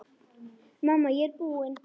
Mamma, ég er búin!